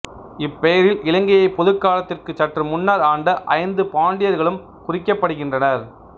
இப்பெயரில் இலங்கையை பொதுக்காலத்திற்கு சற்று முன்னர் ஆண்ட ஐந்து பாண்டியர்களும் குறிக்கப்படுகின்றனர்